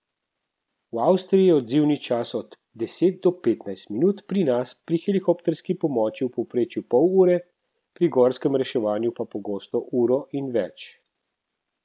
V Avstriji je odzivni čas od deset do petnajst minut, pri nas pri helikopterski pomoči v povprečju pol ure, pri gorskem reševanju pa pogosto uro in več.